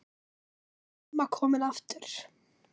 Þar var amma komin aftur.